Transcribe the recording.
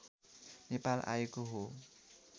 नेपाल आएको हो